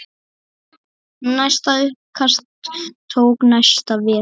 Næsta uppkast tók næsta vetur.